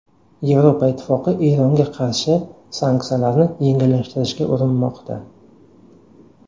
Yevropa Ittifoqi Eronga qarshi sanksiyalarni yengillashtirishga urinmoqda.